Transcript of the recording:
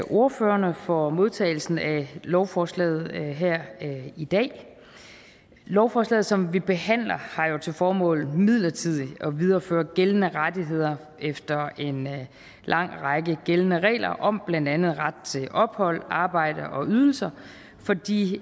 ordførerne for modtagelsen af lovforslaget her i dag lovforslaget som vi behandler har til formål midlertidigt at videreføre gældende rettigheder efter en lang række gældende regler om blandt andet ret til ophold arbejde og ydelser for de